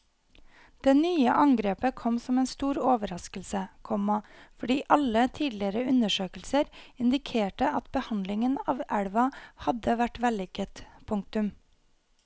Det nye angrepet kom som en stor overraskelse, komma fordi alle tidligere undersøkelser indikerte at behandlingen av elva hadde vært vellykket. punktum